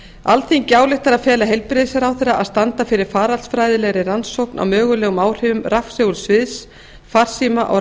alþingi ályktar að fela heilbrigðisráðherra að standa fyrir faraldsfræðilegri rannsókn á mögulegum áhrifum rafsegulsviðs farsíma og